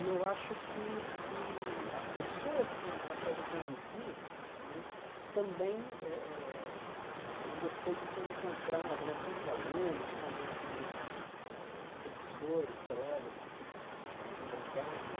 E eu acho que que as pessoas com as quais eu convivi né, também eh eh eh eu gostei de ter encontrado né tanto alunos como como professores, colegas, que eu fi eh algumas amizades.